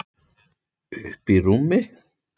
Uppí rúmi.